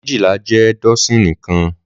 Méjilá jè dọsini kãn